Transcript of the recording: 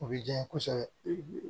O bɛ diɲɛ kosɛbɛ